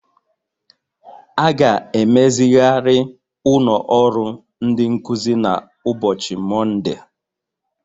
A ga-emezigharị ụlọ ọrụ ndị nkuzi na ụbọchị Mọnde